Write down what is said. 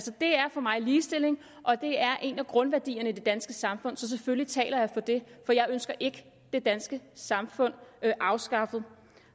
for mig ligestilling og det er en af grundværdierne i det danske samfund så selvfølgelig taler jeg for det for jeg ønsker ikke det danske samfund afskaffet